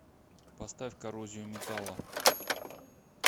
поставь коррозию металла